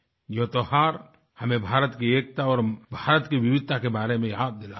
ये त्यौहार हमें भारत की एकता और भारत की विविधता के बारे में याद दिलाते हैं